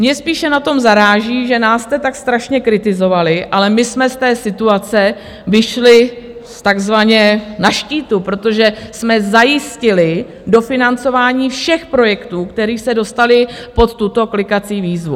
Mě spíše na tom zaráží, že nás jste tak strašně kritizovali, ale my jsme z té situace vyšli takzvaně na štítu, protože jsme zajistili dofinancování všech projektů, které se dostaly pod tuto klikací výzvu.